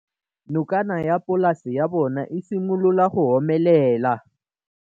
Nokana ya polase ya bona, e simolola go omelela.